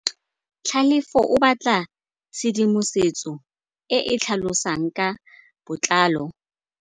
Tlhalefô o batla tshedimosetsô e e tlhalosang ka botlalô.